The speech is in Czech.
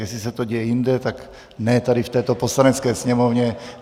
Jestli se to děje jinde, tak ne tady v této Poslanecké sněmovně.